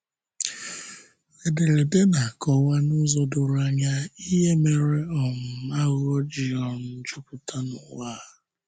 Ederede na-akọwa n'ụzọ doro anya ihe mere um àghụ̀ghọ̀ ji um jupụta n'ụwa a.